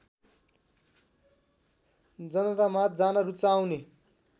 जनतामाझ जान रुचाउने